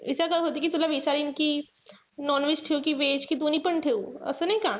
यांच्यातच होती कि तुला विचारीन कि non-veg ठेऊ कि veg? कि दोन्हीपण ठेऊ? असं नाई का?